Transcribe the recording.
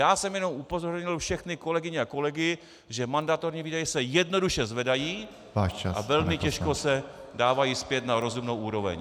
Já jsem jenom upozornil všechny kolegyně a kolegy, že mandatorní výdaje se jednoduše zvedají a velmi těžko se dávají zpět na rozumnou úroveň.